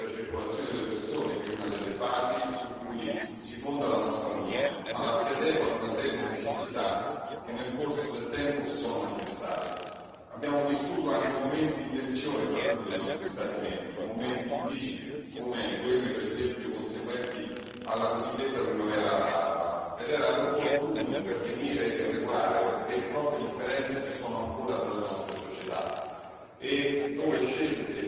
Non si aliena certo il principio della libera circolazione delle persone che è una delle basi su cui si fonda la nostra Unione, ma la si adegua ad una serie di necessità che nel corso del tempo si sono manifestate. Abbiamo vissuto anche momenti di tensione tra alcuni dei nostri Stati membri momenti difficili come quelli per esempio conseguenti alla cosiddetta primavera araba ed era opportuno intervenire e regolare perché troppe differenze ci sono ancora tra le nostre società